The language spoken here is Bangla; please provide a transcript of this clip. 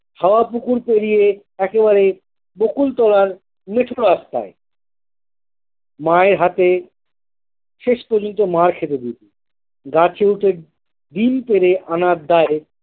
হাওয়া পুকুর পেরিয়ে একবারে বকুলতলার মেঠো রাস্তায় মায়ের হাতে শেষ পর্যন্ত মার খেত দিদি গাছে উঠে ডিম পেড়ে আনার দায়ে।